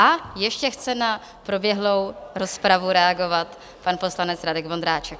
A ještě chce na proběhlou rozpravu reagovat pan poslanec Radek Vondráček.